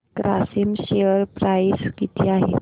Grasim share price किती आहे